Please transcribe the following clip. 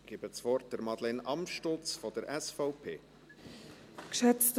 Ich gebe Madeleine Amstutz von der SVP das Wort.